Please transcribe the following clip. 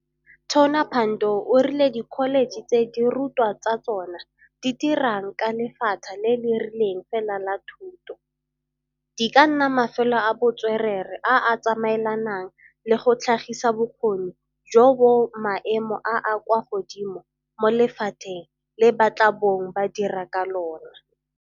Tona Pandor o rile dikholetšhe tse dirutwa tsa tsona di dirang ka lephata le le rileng fela la thuto, di ka nna mafelo a bo tswerere a a tsamaelanang le go tlhagisa bokgoni jo bo maemo a a kwa godimo mo lephateng le ba tla bong ba dira ka lona.